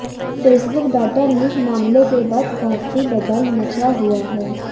Facebook data leak मामले के बाद काफी बवाल मचा हुआ है